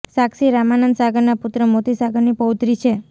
સાક્ષી રામાનંદ સાગરનાં પુત્ર મોતી સાગરની પૌત્રી છે